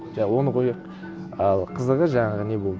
жа оны қояйық ал қызығы жаңағы не болды